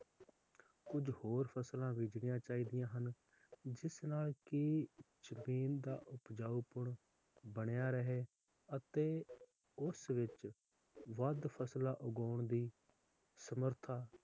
ਕੁਜ ਹੋਰ ਫਸਲਾਂ ਬੀਜਣੀਆਂ ਚਾਹੀਦੀਆਂ ਹਨ ਜਿਸ ਨਾਲ ਕਿ ਜਮੀਨ ਦਾ ਉਪਜਾਊਪਣ ਬਣਿਆ ਰਹੇ ਅਤੇ ਉਸ ਵਿਚ ਵੱਧ ਫਸਲਾਂ ਉਗਾਉਣ ਦੀ ਸਮਰਥਾ,